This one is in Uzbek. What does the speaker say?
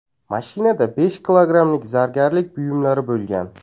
Mashinada besh kilogrammlik zargarlik buyumlari bo‘lgan.